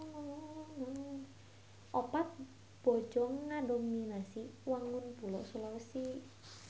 Opat bojong ngadominasi wangun pulo Sulawesi.